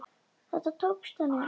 Þetta tókst henni.